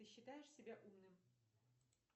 ты считаешь себя умным